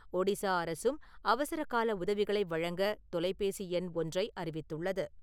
ஒடிசா அரசும் அவசரகால உதவிகளை வழங்க தொலைபேசி எண் ஒன்றை அறிவித்துள்ளது.